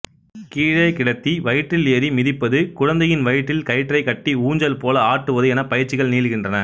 கீழே கிடத்தி வயிற்றில் ஏறி மிதிப்பது குழந்தையின் வயிற்றில் கயிற்றைக் கட்டி ஊஞ்சல் போல ஆட்டுவது என பயிற்சிகள் நீள்கின்றன